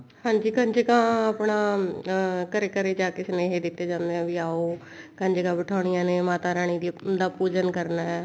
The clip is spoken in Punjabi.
ਹਾਂਜੀ ਕੰਜਕਾਂ ਆਪਣਾ ਅਮ ਘਰੇ ਘਰੇ ਜਾ ਕੇ ਸੁਨੇਹੇ ਦਿੱਤੇ ਜਾਂਦੇ ਵੀ ਆਓ ਕੰਜਕਾਂ ਬਠਾਉਨੀਆਂ ਨੇ ਮਾਤਾ ਰਾਣੀ ਦਾ ਪੂਜਨ ਕਰਨਾ ਹੈ